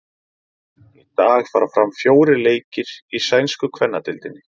Í dag fara fram fjórir leikir í sænsku kvennadeildinni.